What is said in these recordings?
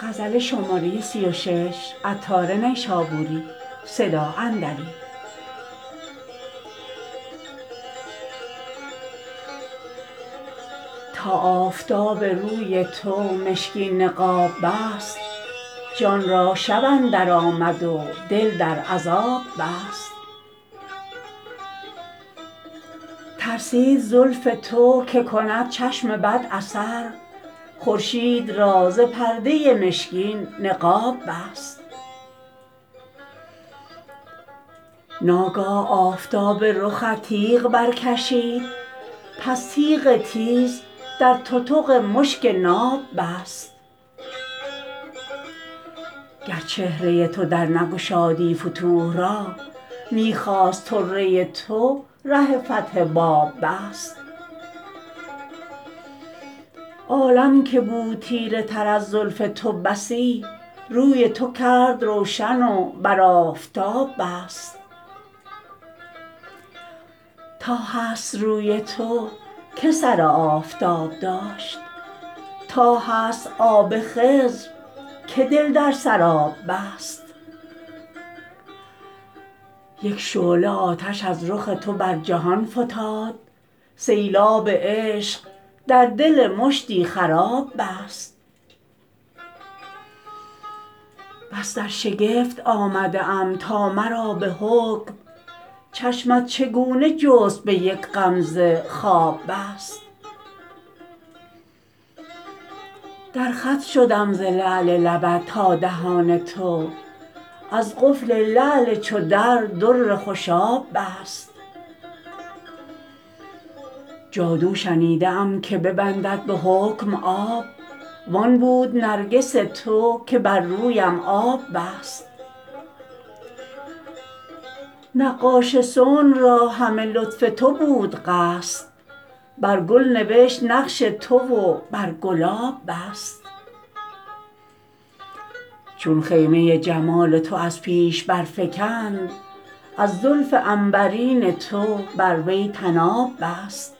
تا آفتاب روی تو مشکین نقاب بست جان را شب اندر آمد و دل در عذاب بست ترسید زلف تو که کند چشم بد اثر خورشید را ز پرده مشکین نقاب بست ناگاه آفتاب رخت تیغ برکشید پس تیغ تیز در تتق مشک ناب بست گر چهره تو در نگشادی فتوح را می خواست طره تو ره فتح باب بست عالم که بود تیره تر از زلف تو بسی روی تو کرد روشن و بر آفتاب بست تا هست روی تو که سر آفتاب داشت تا هست آب خضر که دل در سراب بست یک شعله آتش از رخ تو بر جهان فتاد سیلاب عشق در دل مشتی خراب بست بس در شگفت آمده ام تا مرا به حکم چشمت چگونه جست به یک غمزه خواب بست در خط شدم ز لعل لبت تا دهان تو از قفل لعل چو در در خوشاب بست جادو شنیده ام که ببندد به حکم آب وان بود نرگس تو که بر رویم آب بست نقاش صنع را همه لطف تو بود قصد بر گل نوشت نقش تو و بر گلاب بست چون خیمه جمال تو از پیش برفگند از زلف عنبرین تو بر وی طناب بست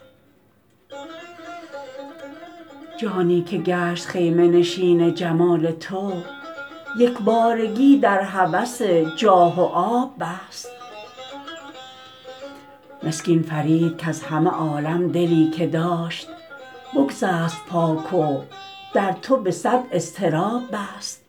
جانی که گشت خیمه نشین جمال تو یکبارگی در هوس جاه و آب بست مسکین فرید کز همه عالم دلی که داشت بگسست پاک و در تو به صد اضطراب بست